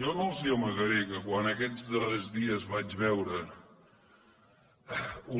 jo no els amagaré que quan aquests darrers dies vaig veure